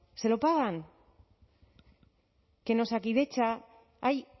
se lo pagan que en osakidetza hay